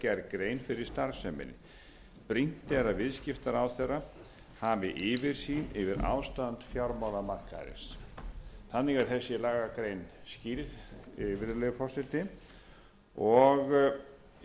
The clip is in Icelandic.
fyrir starfseminni brýnt er að viðskiptaráðherra hafi yfirsýn yfir ástand fjármagnsmarkaðarins þannig er þessi lagagrein skýrð virðulegi forseti ég vek athygli á því að þar er tvisvar sinnum tilgreint sérstaklega að það skuli vera ráðherra sem á